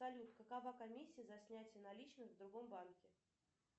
салют какова комиссия за снятие наличных в другом банке